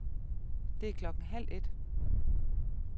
Det er klokken halv et.